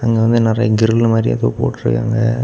இங்க வந்து நறைய கிரில் மாரி எதோ போட்ருக்காங்க.